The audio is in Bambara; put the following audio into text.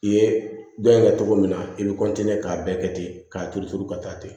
I ye dɔn in kɛ cogo min na i bɛ k'a bɛɛ kɛ ten k'a turu turu ka taa ten